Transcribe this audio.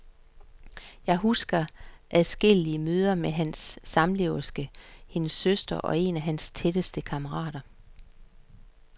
Jeg husker adskillige møder med hans samleverske, hendes søster og en af hans tætteste kammerater.